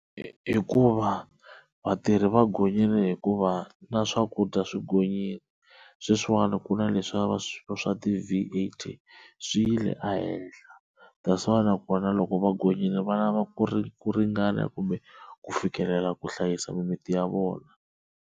Hikuva vatirhi va gonyile hikuva na swakudya swi gonyile, sweswiwani ku na leswa swa ti-V_A_T swi yile ehenhla that's why nakona loko va gonyile va lava ku ri ku ringana kumbe ku fikelela ku hlayisa mimiti ya vona.